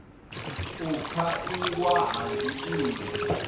u fha iwa ha dzinnḓu